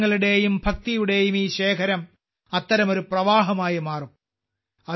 വികാരങ്ങളുടെയും ഭക്തിയുടെയും ഈ ശേഖരം അത്തരമൊരു പ്രവാഹമായി മാറും